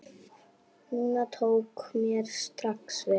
Nunna tók mér strax vel.